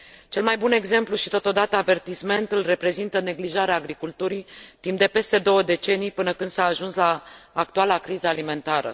Cel mai bun exemplu și, totodată, avertisment îl reprezintă neglijarea agriculturii, timp de peste două decenii, până când s a ajuns la actuala criză alimentară.